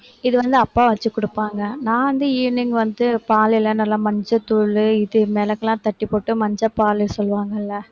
இது வந்து அப்பா வச்சு கொடுப்பாங்க நான் வந்து evening வந்து பால் எல்லாம் நல்லா மஞ்சள் தூள் இது மிளகெல்லாம் தட்டிப் போட்டு மஞ்சள் பால் சொல்லுவாங்கல